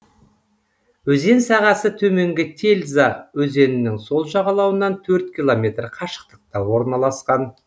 өзен сағасы төменгі тельза өзенінің сол жағалауынан төрт километр қашықтықта орналасқан